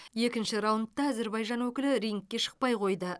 екінші раундта әзербайжан өкілі рингке шықпай қойды